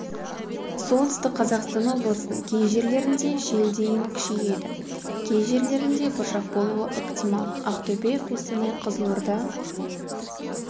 солтүстік қазақстан облысының кей жерлерінде жел дейін күшейеді кей жерлерінде бұршақ болуы ықтимал ақтөбе қостанай қызылорда